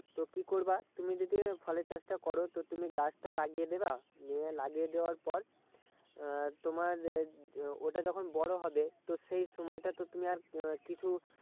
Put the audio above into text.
তো কি করবা তুমি যদি ফলের চাষটা করো তো তুমি গাছটা লাগিয়ে দেবা নিয়ে লাগিয়ে দেওয়ার পর আহ তোমার আহ ওটা যখন বড়ো হবে তো সেই সময়টা তো তুমি আর কিছু